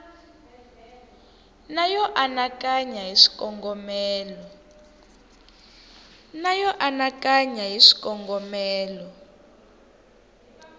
na yo anakanya hi swikongomelo